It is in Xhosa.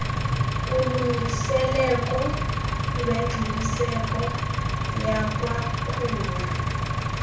kulungiseleko lwengqiniseko yakwakhula